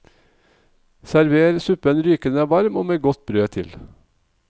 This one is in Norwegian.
Server suppen rykende varm med godt brød til.